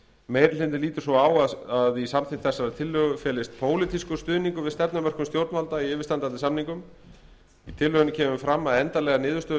meiri hlutinn lítur svo á að í samþykkt þessarar tillögu felist pólitískur stuðningur við stefnumörkun stjórnvalda í yfirstandandi samningum í tillögunni kemur fram að endanlegar niðurstöður